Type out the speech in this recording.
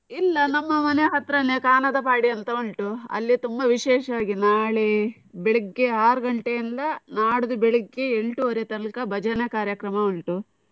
ಇಲ್ಲ ನಮ್ಮ ಮನೆ ಹತ್ರಾನೇ ಕಾನದಪಾಡಿ ಅಂತ ಉಂಟು ಅಲ್ಲಿ ತುಂಬಾ ವಿಶೇಷವಾಗಿ. ನಾಳೆ ಬೆಳಿಗ್ಗೆ ಆರ್ ಗಂಟೆ ಇಂದ ನಾಡ್ದು ಬೆಳಿಗ್ಗೆ ಎಂಟುವರೆ ತನಕ ಭಜನಾ ಕಾರ್ಯಕ್ರಮ ಉಂಟು.